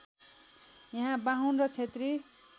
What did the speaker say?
यहाँ बाहुन र क्षेत्री